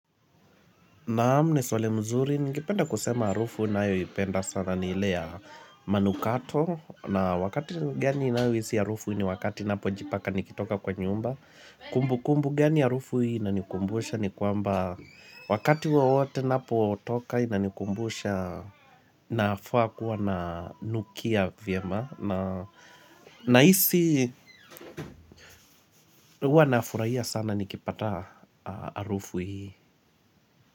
Naam ni swali mzuri, nikipenda kusema harufu ninayoipenda sana ni ile ya manukato, na wakati gani ninayo hisi harufu ni wakati ninapo jipaka nikitoka kwa nyumba, kumbu kumbu gani harufu hii inanikumbusha ni kwamba wakati wowote ninapo toka inanikumbusha nafaa kuwa nanukia vyema, na isi huwa nafurahia sana nikipata harufu hii.